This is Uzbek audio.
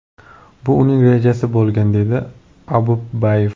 Bu uning rejasi bo‘lgan”, dedi Opumbayev.